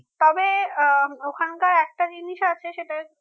তবে আহ ওখানকার একটা জিনিস আছে সেটা